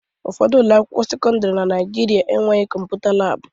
Ụfọdụ ụlọ akwụkwọ sekọndrị na Naijiria enweghị kọmputa laabụ.